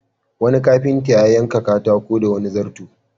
Wani kafinta ya yanka katako da wani zarto.